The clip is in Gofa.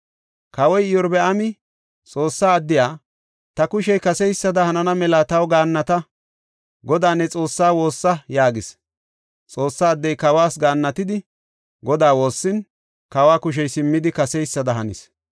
Kawoy Iyorbaami Xoossa addiya, “Ta kushey kaseysada hanana mela taw gaannata; Godaa ne Xoossaa woossa” yaagis. Xoossa addey kawas gaannatidi Godaa woossin, kawa kushey simmidi kaseysada hanis.